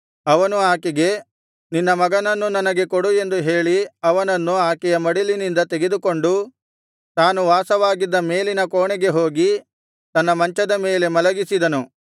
ಅವನು ಆಕೆಗೆ ನಿನ್ನ ಮಗನನ್ನು ನನಗೆ ಕೊಡು ಎಂದು ಹೇಳಿ ಅವನನ್ನು ಆಕೆಯ ಮಡಿಲಿನಿಂದ ತೆಗೆದುಕೊಂಡು ತಾನು ವಾಸವಾಗಿದ್ದ ಮೇಲಿನ ಕೋಣೆಗೆ ಹೋಗಿ ತನ್ನ ಮಂಚದ ಮೇಲೆ ಮಲಗಿಸಿದನು